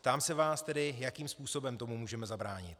Ptám se vás tedy, jakým způsobem tomu můžeme zabránit.